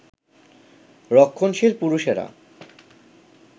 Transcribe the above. রক্ষণশীল পুরুষেরা